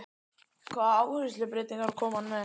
Hvaða áherslubreytingar kom hann með?